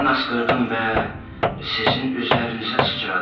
Mən askırdım və sizin üzərinizə sıçradı.